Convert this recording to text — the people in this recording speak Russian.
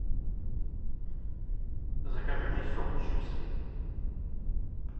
закажи мне сок с чипсами